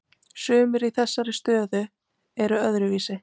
Sumir í þessari stöðu eru öðruvísi